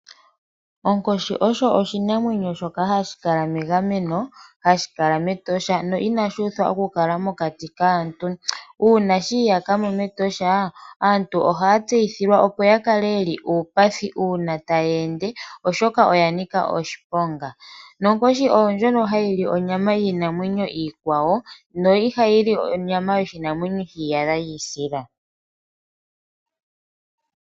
Onkoshi osho oshinamwenyo shoka hashi kala megameno hashi kala mEtosha no inashi uthwa oku kala mokati kaantu, uuna shi iyaka mo meEtosha aantu ohaya tseyithilwa, opo ya kale yeli uupathi uuna taya ende, oshoka oya nika oshiponga nonkoshi oyo ndjono hayi li onyama yiinamwenyo iikwawo no ihayi li onyama yoshinamwenyo sheeyadha shiisila.